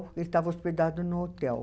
Ele estava hospedado num hotel.